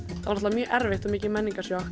mjög erfitt og mikið menningarsjokk